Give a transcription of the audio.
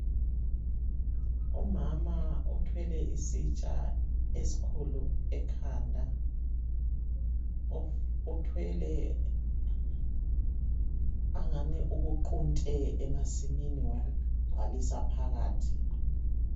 umama othwele isitsha esikhulu ekhanda othwele angani ukuqunte emasimini wakugcwalisa phakathi.